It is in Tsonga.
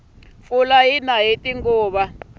pfula yina hiti nguva